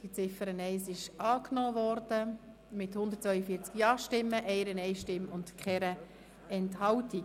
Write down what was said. Die Ziffer 1 ist angenommen worden mit 142 Ja-Stimmen, 1 Nein-Stimme und 0 Enthaltungen.